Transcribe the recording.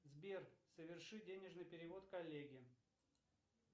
сбер соверши денежный перевод коллеге